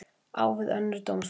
Á við önnur dómsmál